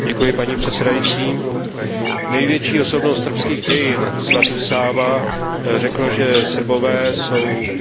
Největší osobnost srbských dějin svatý Sáva řekl, že Srbové jsou jak lidé Východu, tak lidé Západu.